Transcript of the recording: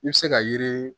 I bɛ se ka yiri